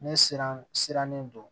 Ne siran sirannen don